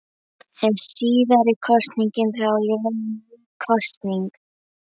Er síðari kosningin þá í raun ný kosning.